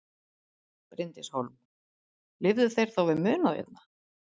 Bryndís Hólm: Lifðu þeir þá við munað hérna?